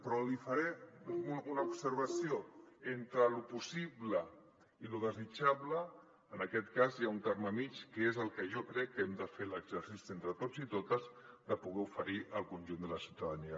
però li faré una observació entre lo possible i lo desitjable en aquest cas hi ha un terme mitjà que és el que jo crec que hem de fer l’exercici entre tots i totes de poder oferir al conjunt de la ciutadania